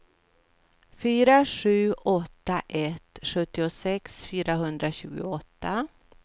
fyra sju åtta ett sjuttiosex fyrahundratjugoåtta